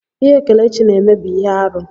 Ihe Kelechi na-eme bụ ihe arụ.